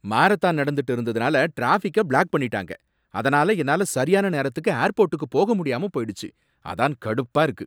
Marathon நடந்துட்டு இருந்ததுனால டிராபிக்க பிளாக் பண்ணிட்டாங்க, அதனால என்னால சரியான நேரத்துக்கு ஏர்போர்ட்டுக்கு போக முடியாம போயிடுச்சு, அதான் கடுப்பா இருக்கு.